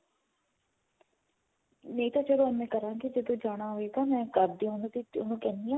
ਨਹੀਂ ਤਾਂ ਚਲੋ ਏਵੇਂ ਕਰਾਂਗੇ ਜਦੋਂ ਜਾਣਾ ਹੋਏਗਾ ਮੈਂ ਕਰਦੀ ਆ ਮੈਂ ਉਹਨੂੰ ਕਹਿਨੀ ਆ